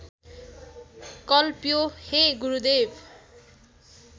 कल्प्यो हे गुरुदेव